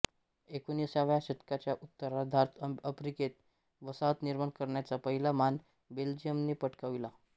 एकोणिसाव्या शतकाच्या उत्तरार्धात आफ्रिकेत वसाहत निर्माण करण्याचा पहिला मान बेल्जियमने पटकाविला